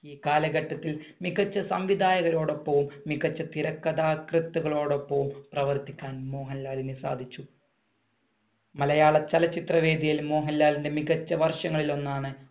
ഈ കാലഘട്ടത്തിൽ മികച്ച സംവിധായകരോടൊപ്പം മികച്ച തിരക്കഥാകൃത്തുക്കളോടൊപ്പവും പ്രവർത്തിക്കാൻ മോഹൻലാലിന് സാധിച്ചു. മലയാള ചലച്ചിത്ര വേദിയിൽ മോഹൻലാലിന്‍റെ മികച്ച വർഷങ്ങളിൽ ഒന്നാണ്